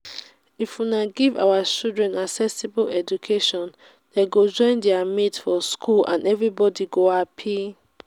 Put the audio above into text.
if una give our children accessible education dey go join their mates for school and everybody go happy